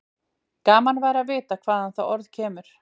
Gaman væri að vita hvaðan það orð kemur.